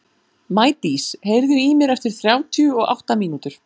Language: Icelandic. Maídís, heyrðu í mér eftir þrjátíu og átta mínútur.